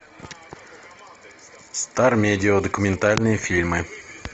стармедиа документальные фильмы